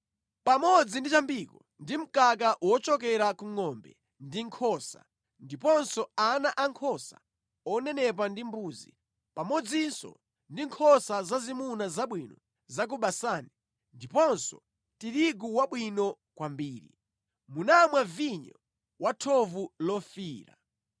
pamodzi ndi chambiko ndi mkaka wochokera ku ngʼombe ndi nkhosa, ndiponso ana ankhosa onenepa ndi mbuzi, pamodzinso ndi nkhosa zazimuna zabwino za ku Basani ndiponso tirigu wabwino kwambiri. Munamwa vinyo wa thovu lofiira.